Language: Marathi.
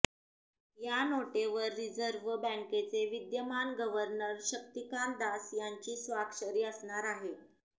या नोटेवर रिझर्व्ह बँकेचे विद्यमान गव्हर्नर शक्तिकांत दास यांची स्वाक्षरी असणार आहे